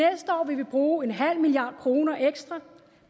år vil vi bruge en halv milliard kroner ekstra